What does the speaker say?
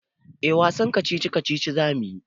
Eh wasan kacici-kacici za mu yi.